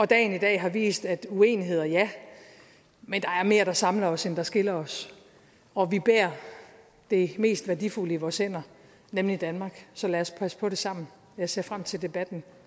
dagen i dag har vist at er uenigheder ja men der er mere der samler os end der skiller os og vi bærer det mest værdifulde i vores hænder nemlig danmark så lad os passe på det sammen jeg ser frem til debatten